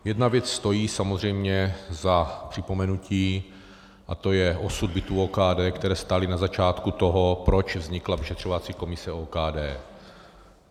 Jedna věc stojí samozřejmě za připomenutí, a to je osud bytů OKD, které stály na začátku toho, proč vznikla vyšetřovací komise OKD.